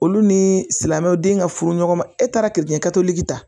Olu ni silamɛw den ka furu ɲɔgɔn ma e taara kɛ totigi ta